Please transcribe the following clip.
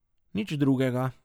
Nič drugega.